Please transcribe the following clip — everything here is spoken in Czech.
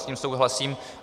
S tím souhlasím.